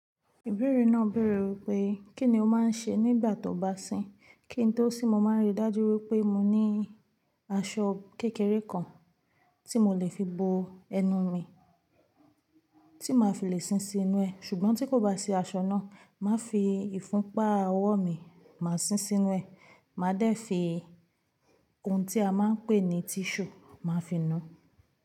Ìbéèrè náà béèrè wípé, kí ni o máa ń ṣe nígbà tó bá sín? Kí n tó sìn mo máa ń rí dájú wípé mo ní aṣọ kékeré kan tí mo lè fi bo ẹnu mi tí màá fi lè sín sinú ẹ̀. Ṣùgbọ́n tí kò bá sí aṣọ náà, màá fi ìfúnpá ọwọ́ mi, màá sín sinú ẹ̀. Màá dẹ̀ fi ohun tí a máa ń pè ní tíṣù, màá fi nu.